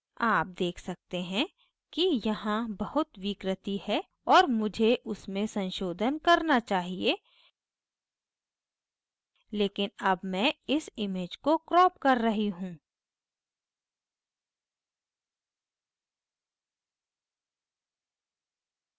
आप देख सकते हैं कि यहाँ बहुत विकृति है और मुझे उसमें संशोधन करना चाहिए लेकिन अब मैं इस image को क्रॉप कर रही you